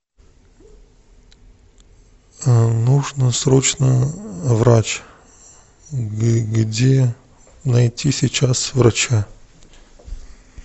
нужно срочно врач где найти сейчас врача